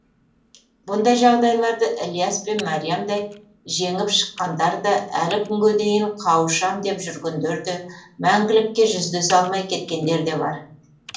бұндай жағдайларды ілияс пен мәриямдай жеңіп шыққандар да әлі күнге дейін қауышам деп жүргендер де мәңгілікке жүздесе алмай кеткендер де бар